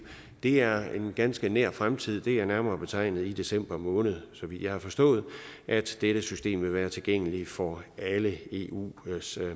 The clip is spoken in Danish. det er en ganske nær fremtid det er nærmere betegnet i december måned så vidt jeg har forstået at dette system vil være tilgængeligt for alle eus eus